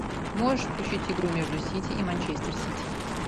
можешь включить игру между сити и манчестер сити